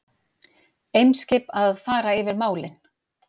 Eimskip að fara yfir málin